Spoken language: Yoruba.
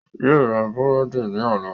Yóò ra búrẹ́dì ní ọ̀la